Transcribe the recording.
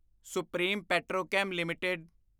supreme Petrochem LTD